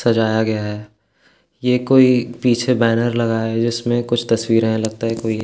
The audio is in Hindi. सजाया गया है ये कोई पीछे बैनर लगाया गया है जिसमें कुछ तस्वीरें हैं लगता है कोई --